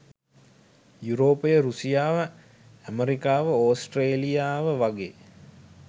යුරෝපය රුසියාව ඇමරිකාව ඔස්ට්‍රේලියාව වගේ